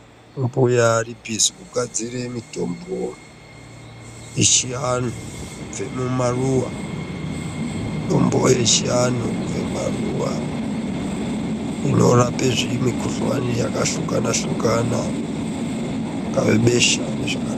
Mbuya ari bhizi kugadzira mitombo echiwanhu kubve mumaruwa mitombo yechivanhu kubve mumaruwa inorape zvimikhuhlane yakahlukana hlukana ingave besha nezvaka...